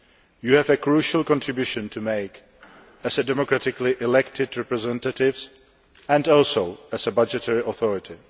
You have a crucial contribution to make as democratically elected representatives and also as an arm of the budgetary authority.